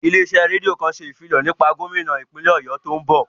Ilé iṣẹ́ rédíò kan ṣe ìfilọ̀ kan nípa gómínà ìpínlè Ọ̀yọ́ tí ó ń bọ̀